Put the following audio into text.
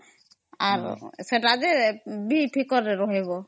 ସେତ ଯେ କଲେ ଠିକ ରହିବ